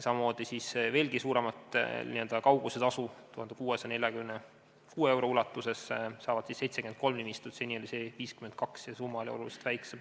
Samamoodi veelgi suuremat n-ö kaugusetasu 1647 euro ulatuses saab 73 nimistut, seni oli saajate arv 52 ja summa oluliselt väiksem.